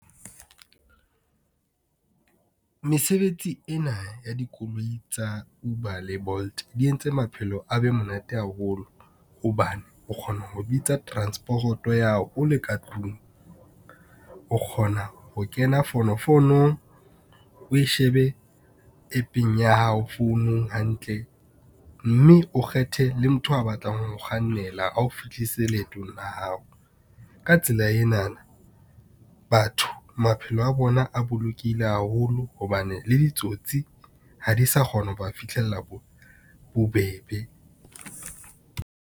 Mesebetsi ena ya dikoloi tsa Uber le Bolt di entse maphelo a be monate haholo. Hobane o kgona ho bitsa transport-o ya hao o le ka tlung. O kgona ho kena fonofonong o e shebe app-eng ya hao founung hantle, mme o kgethe le motho a batlang ho kgannela ao fihlise leetong la hao. Ka tsela enana batho maphelo a bona a bolokehile haholo hobane le ditsotsi ha di sa kgona ho ba fitlhella bobebe.